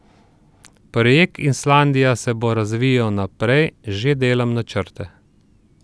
Projekt Islandija se bo razvijal naprej, že delam načrte.